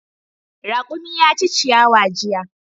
Raƙumi ya ci ciyawa jiya.